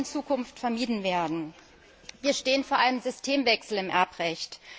Das soll in Zukunft vermieden werden. Wir stehen vor einem Systemwechsel im Erbrecht.